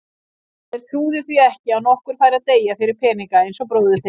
Þeir trúðu því ekki að nokkur færi að deyja fyrir peninga eins og bróðir þinn.